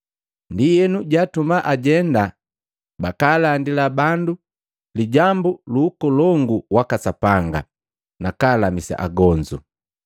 Ndienu jaatuma ajenda bakaalandila bandu lijambu lu Ukolongu waka Sapanga nakalamisa agonzu.